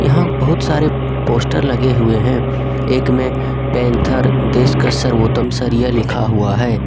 यहां बहुत सारे पोस्टर लगे हुए हैं एक में पैंथर देश का सर्वोत्तम सरिया लिखा हुआ है।